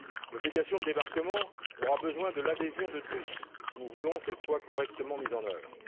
L'obligation de débarquement aura besoin de l'adhésion de tous, si nous voulons qu'elle soit correctement mise en œuvre.